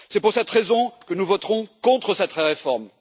C'est pour cette raison que nous voterons contre cette réforme.